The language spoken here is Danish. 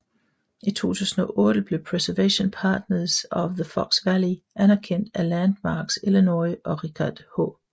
I 2008 blev Preservation Partners of the Fox Valley anerkendt af Landmarks Illinois og Richard H